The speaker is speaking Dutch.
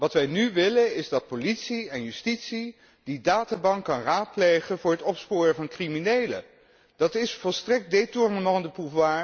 Wat wij nu willen is dat politie en justitie die databank kunnen raadplegen voor het opsporen van criminelen. Dat is volstrekt een